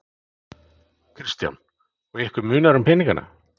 Kristján: Og ykkur munar um peningana?